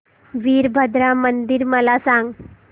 वीरभद्रा मंदिर मला सांग